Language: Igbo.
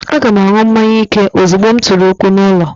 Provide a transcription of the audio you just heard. Aga m aṅụ mmanya ike ozugbo m tụrụ ụkwụ n'ulo